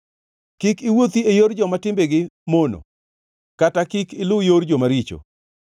Kik iwuothi e yor joma timbegi mono kata kik iluw yor jomaricho.